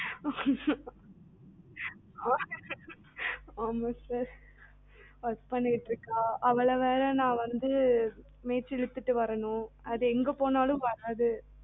உம் ஆமா sir work பண்ணிட்டு இருக்கா அவளை வேர மெய்ச்சி இல்லுத்துடு வரணும் அது எங்க போனாலும் வராது